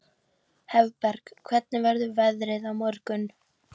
Hafberg, hvernig verður veðrið á morgun?